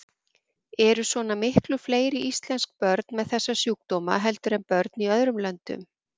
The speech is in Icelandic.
Eru svona miklu fleiri íslensk börn með þessa sjúkdóma heldur en börn í öðrum löndum?